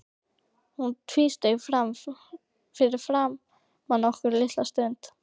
Hann tvísteig fyrir framan okkur litla stund.